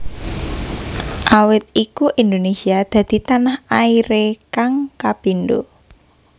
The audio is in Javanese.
Awit iku Indonesia dadi tanah airé kang kapindo